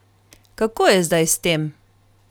Kako je zdaj s tem?